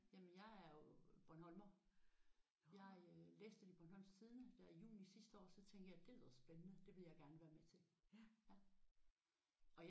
Jamen jeg er jo bornholmer. Jeg øh læste det i Bornholms Tidende der i juni sidste år så tænkte jeg det lyder spændende. Det ville jeg gerne være med til